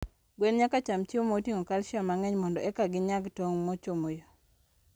gwen nyaka cham chiemo moting'o calcium mang'eny mondo eka ginyag tong' mochomo yo..